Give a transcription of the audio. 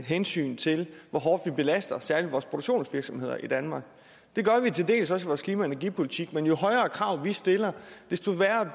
hensyn til hvor hårdt vi belaster særlig vores produktionsvirksomheder i danmark det gør vi til dels også i vores klima og energipolitik men jo højere krav vi stiller desto værre